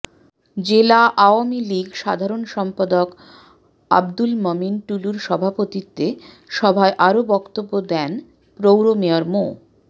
জেলা আওয়ামী লীগ সাধারণ সম্পাদক আব্দুল মমিন টুলুর সভাপতিত্বে সভায় আরও বক্তব্য দেন পৌরমেয়র মো